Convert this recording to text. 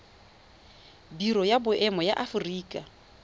biro ya boemo ya aforika